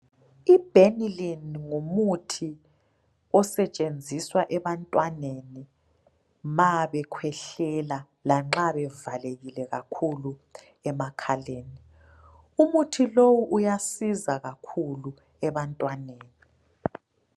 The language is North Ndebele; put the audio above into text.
Ibhenilini ngumuthi osetshenziswa ebantwaneni ma bekhwehlela lanxa bevalekile kakhulu emakhaleni. Umuthi lowu uyasiza kakhulu ebantwaneni.